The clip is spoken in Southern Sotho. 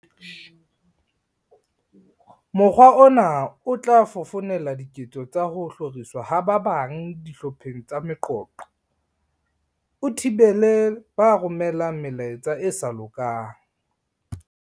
"Mokgwa ona o tla fofonela diketso tsa ho hloriswa ha ba bang dihlopheng tsa meqoqo, o thibele ba romelang melaetsa e sa lokang."